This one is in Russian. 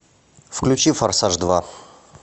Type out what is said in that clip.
включи форсаж два